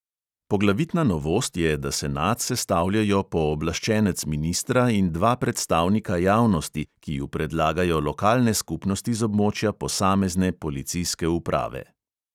Poglavitna novost je, da senat sestavljajo pooblaščenec ministra in dva predstavnika javnosti, ki ju predlagajo lokalne skupnosti z območja posamezne policijske uprave.